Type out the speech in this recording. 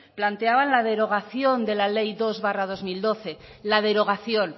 planteaba la derogación de la ley dos barra dos mil doce la derogación